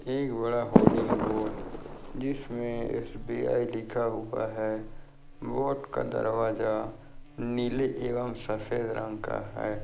एक बड़ा hoarding board जिसमे एस.बी.आई. लिखा हुआ है बोर्ड का दरवाजा नीले एवं सफेद रंग का है।